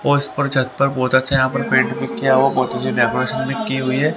और इस पर छत पर बहुत अच्छा यहां पर पैंट भी किया हुआ बहुत अच्छी डेकोरेशन भी की हुई है।